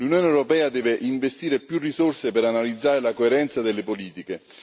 L'Unione europea deve investire più risorse per analizzare la coerenza delle politiche.